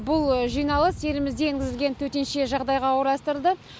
бұл жиналыс елімізде енгізілген төтенше жағдайға орайластырылды